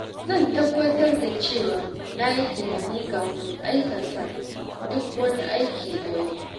Zan tabbatar da cewa na yi tunani kafin in aikata duk wani aiki a yau.